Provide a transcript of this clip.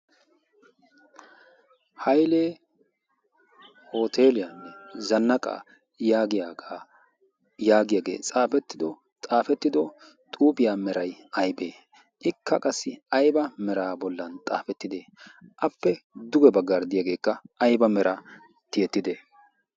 hailee hoteliyaanne zannaqaa yaagyaagaa'yaagiyaagee xaafettido xaafettido xuuphiyaa meray aybee ikka qassi ayba mera bollan xaafettide appe duge baggaarddiyaageekka ayba meraa tiyettide?